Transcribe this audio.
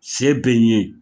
Se bɛ n ye